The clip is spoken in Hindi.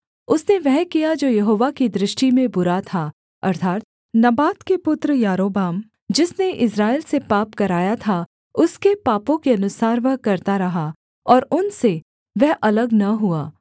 उसने वह किया जो यहोवा की दृष्टि में बुरा था अर्थात् नबात के पुत्र यारोबाम जिसने इस्राएल से पाप कराया था उसके पापों के अनुसार वह करता रहा और उनसे वह अलग न हुआ